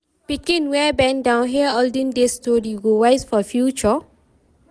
Pikin wey bend down hear olden days story go wise for future.